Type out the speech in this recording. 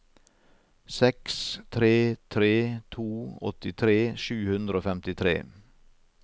seks tre tre to åttitre sju hundre og femtitre